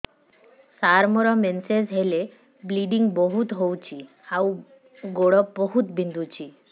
ସାର ମୋର ମେନ୍ସେସ ହେଲେ ବ୍ଲିଡ଼ିଙ୍ଗ ବହୁତ ହଉଚି ଆଉ ଗୋଡ ବହୁତ ବିନ୍ଧୁଚି